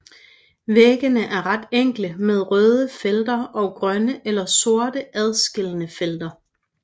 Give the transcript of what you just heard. Væggene er ret enkle med røde felter og grønne eller sorte adskillende felter